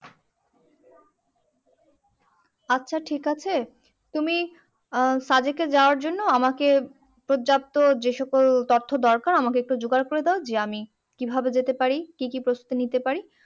আচ্ছা ঠিক আছে তুমি আহ সাজেকে যাওয়ার জন্য আমাকে পর্যাপ্ত যে সকল তথ্য দরকার আমাকে একটু জোগাড় করে দাও যে আমি কিভাবে যেতে পারি কি কি প্রস্তুতি নিতে পারি